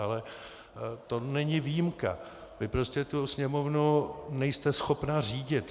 Ale to není výjimka, vy prostě tu Sněmovnu nejste schopna řídit.